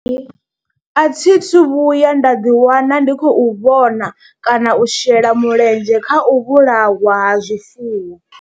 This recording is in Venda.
Hai, a thi thu vhuya nda ḓiwana ndi khou vhona kana u shela mulenzhe kha u vhulawa ha zwifuwo.